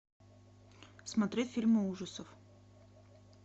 смотреть фильмы ужасов